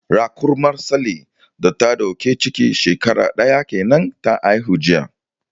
Raƙumar Sale da ta dauki ciki shekara daya kenan ta haihu jiya.